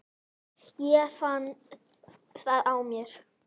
Ég finn það á mér.